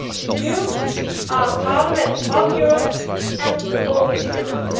You are a parliament of Europe and for Europe.